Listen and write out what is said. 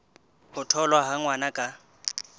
ho tholwa ha ngwana ka